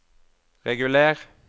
reguler